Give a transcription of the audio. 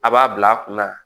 A b'a bila a kunna